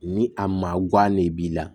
Ni a ma guwa ne b'i la